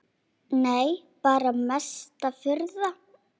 Nei bara mesta furða.